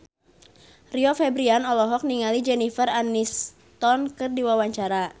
Rio Febrian olohok ningali Jennifer Aniston keur diwawancara